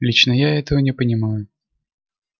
лично я этого не понимаю